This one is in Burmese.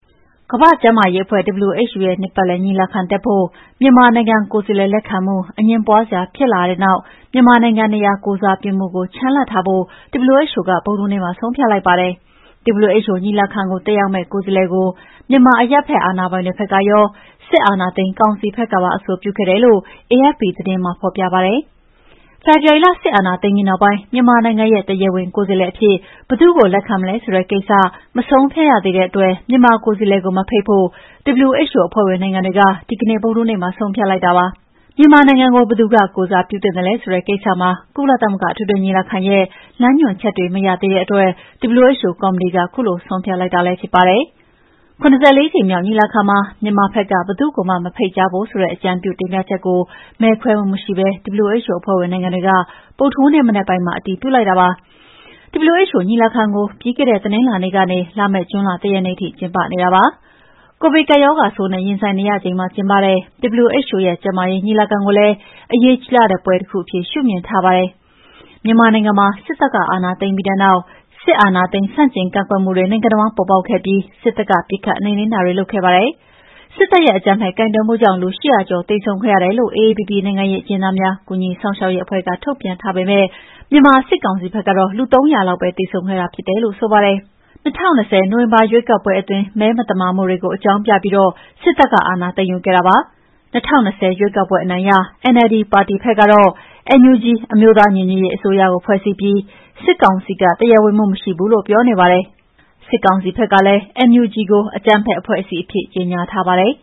ကမ္ဘာ့ကျန်းမာရေးအဖွဲ့ WHO ရဲ့ နှစ်ပတ်လည် ညီလာခံတက်ဖို့ မြန်မာနိုင်ငံ ကိုယ်စားလှယ်လက်ခံမှု အငြင်းပွားစရာတွေဖြစ်လာတဲ့နောက်၊ မြန်မာနိုင်ငံနေရာ ကိုယ်စားပြုမှုကို ချန်လှပ်ထားဖို့ WHO က ဗုဒ္ဓဟူးနေ့ မှာ ဆုံးဖြတ်လိုက်ပါတယ်။ WHO ညီလာခံကို တက်ရောက်မယ့် ကိုယ်စားလှယ်ကို မြန်မာအရပ်ဖက်အာဏာပိုင်တွေဖက်ရော စစ်အာဏာသိမ်းကောင်စီဖက်ကပါ အဆိုပြုခဲ့တယ်လို့ အေအက်ဖ်ပီသတင်းမှာ ဖော်ပြပါတယ်။ ဖေဖော်ဝါရီလ စစ်အာဏာသိမ်းပြီးနောက်ပိုင်း မြန်မာနိုင်ငံရဲ့တရားဝင်ကိုယ်စားလှယ်အဖြစ် ဘယ်သူ့ကိုလက်ခံမလဲဆိုတဲ့ကိစ္စကို မဆုံးဖြတ်ရသေးတဲ့အတွက် မြန်မာကိုယ်စားလှယ်ကို မဖိတ်ဖို့ WHO အဖွဲ့ဝင်နိုင်ငံတွေက ဒီကနေ့ ဗုဒ္ဓဟူးနေ့မှာဆုံးဖြတ်လိုက်တာပါ။ မြန်မာနိုင်ငံကို ဘယ်သူက ကိုယ်စားပြုသင့်သလဲဆိုတဲ့ ကိစ္စမှာ ကုလသမဂ္ဂအထွေထွေညီလာခံရဲ့ လမ်းညွှန်ချက်တွေ မရသေးတဲ့အတွက် WHO ကော်မတီက ခုလိုဆုံးဖြတ်လိုက်တာလည်းဖြစ်ပါတယ်။ ၇၄ ကြိမ်မြောက်ညီလာခံမှာ မြန်မာဖက်က ဘယ်သူ့ကိုမှ မဖိတ်ကြားဖို့ ဆိုတဲ့အကြံပြုတင်ပြချက်ကို မဲခွဲမှုမရှိပဲ WHO အဖွဲ့ဝင်နိုင်ငံတွေက ဗုဒ္ဓဟူးနေ့မနက်ပိုင်းမှာ အတည်ပြုလိုက်တာဖြစ်ပါတယ်။ WHO ညီလာခံကို ပြီးခဲ့တဲ့တနင်္လာနေ့ကနေ လာမယ့် ဂျွန်လ၁ ရက်နေ့ထိကျင်းပနေတာပါ။ ကိုဗစ်ကပ်ရောဂါဆိုးနဲ့ ရင်ဆိုင်နေရချိန်မှာ ကျင်းပတဲ့ WHO ရဲ့ ကျန်းမာရေးညီလာခံကိုလည်း အရေးကြီးလှတဲ့ပွဲတခုအဖြစ် ရှုမြင်ထားပါတယ်။ မြန်မာနိုင်ငံမှာ စစ်တပ်ကအာဏာသိမ်းပြီးတဲ့နောက် စစ်အာဏာသိမ်း ဆန့်ကျင်ကန့်ကွက်မှုတွေ နိုင်ငံအဝှမ်းပေါ်ပေါက်ခဲ့ပြီး စစ်တပ်က ပစ်ခတ်နှိမ်နင်းတာတွေလုပ်ခဲ့ပါတယ်။ စစ်တပ်ရဲ့အကြမ်းဖက်ကိုင်တွယ်မှုကြောင့် လူ ၈ဝဝ ကျော်သေဆုံးခဲ့ရတယ်လို့ AAPP နိုင်ငံရေးအကျဉ်းသားများကူညီစောင့်ရှောက်ရေးအဖွဲ့က ထုတ်ပြန်ထားပေမယ့် မြန်မာစစ်ကောင်စီဖက်ကတော့ လူ ၃၀၀ လောက်ပဲ သေဆုံးခဲ့တာဖြစ်တယ်လို့ ဆိုပါတယ်။ ၂၀၂၀ ခုနှစ် နိုဝင်ဘာရွေးကောက်ပွဲအတွင်း မဲမသမာမှုတွေကို အကြောင်းပြပြီး စစ်တပ်က အာဏာသိမ်းယူခဲ့တာပါ။ ၂၀၂၀ ရွေးကောက်ပွဲအနိုင်ရ NLD ပါတီဖက်ကတော့ NUG အမျိုးသားညီညွတ်ရေးအစိုးရကို ဖွဲ့စည်းပြီး၊ စစ်ကောင်စီက တရားဝင်မှုမရှိဘူးလို့ ပြောနေပါတယ်။ စစ်ကောင်စီဖက်ကလည်း NUG ကို အကြမ်းဖက်အဖွဲ့အစည်းအဖြစ် ကြေညာထားပါတယ်